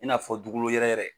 I n'a fɔ dugolo yɛrɛyɛrɛ.